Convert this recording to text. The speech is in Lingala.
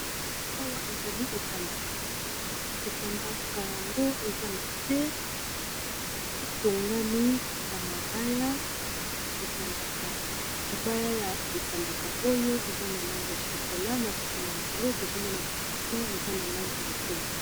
awa ezali etandaka etandaka yango eza na se etongami na mabaya libaya ya etandaka oyo eza na lange ya shokola na nsima yango tozomona ba crusin eza na lange ya bwe